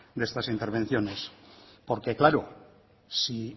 de estas intervenciones porque claro si